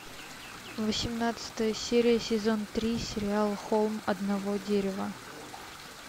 восемнадцатая серия сезон три сериал холм одного дерева